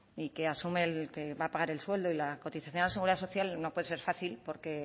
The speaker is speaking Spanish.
y que asume que va a pagar el sueldo y la cotización a la seguridad social no puede ser fácil porque